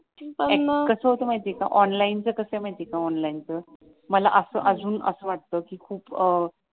माहित आहे का ऑनलाईन च कसं आहे माहित आहे का ऑनलाईन च मला अजून असं वाटत कि खूप